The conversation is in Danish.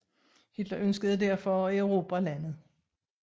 Hitler ønskede derfor at erobre landet